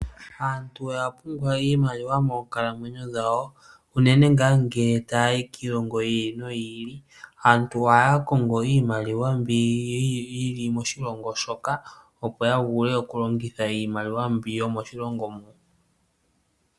Aantu oya pumbwa iimaliwa moonkalamwenyo dhawo unene ngaa ngele taya yi kiilongo yi ili noyi ili. Aantu ohaya kongo iimaliwa mbi yili moshilongo shoka opo ya vule okulongitha iimaliwa mbi yomoshilongo mo.